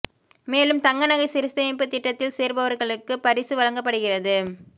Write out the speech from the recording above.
மேலும் தங்க நகை சிறுசேமிப்பு திட்டத்தில் சேர்பவர்களுக்கு பரிசு வழங்கப்படுகிறது